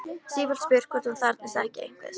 Sífellt spurt hvort hún þarfnist ekki einhvers.